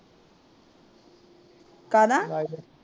ਕਾਦਾ?